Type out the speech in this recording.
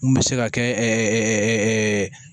Mun bɛ se ka kɛ